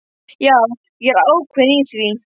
Já, ég er ákveðinn í því.